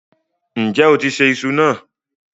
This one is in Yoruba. Ǹjẹ́ o ti ṣẹ̀ ìṣù náà?